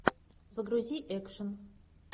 загрузи экшен